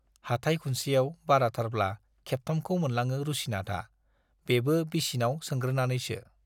हाथाइ खुनसेआव बाराथारब्ला खेबथामखौ मोनलाङो रुसिनाथआ, बेबो बिसिनाव सोंग्रोनानैसो।